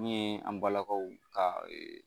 Mi ye an balakaw ka ee